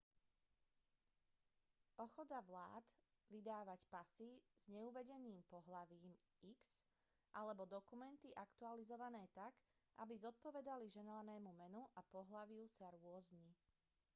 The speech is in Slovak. ochota vlád vydávať pasy s neuvedeným pohlavím x alebo dokumenty aktualizované tak aby zodpovedali želanému menu a pohlaviu sa rôzni